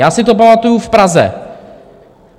Já si to pamatuju v Praze.